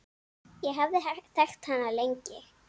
Ég hafði þekkt hana lengi.